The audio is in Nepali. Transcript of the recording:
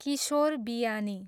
किशोर बियानी